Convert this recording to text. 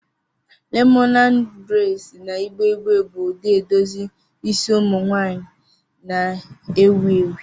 Lemonad braids na igbe igbe bụ ụdị edozi isi ụmụ nwanyị na-ewu ewu.